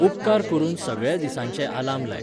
उपकार करून सगळ्या दिसांचे अलार्म लाय